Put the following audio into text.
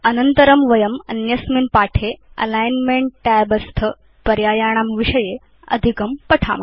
अन्यस्मिन् पाठे अनन्तरं वयं अलिग्न्मेंट tab स्थानां पर्यायाणां विषये अधिकं पठिष्याम